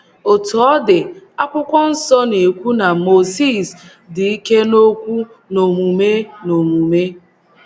Otú ọ dị, akwụkwọ nsọ na - ekwu na Mozis “ dị ike n’okwu na n’omume n’omume. ”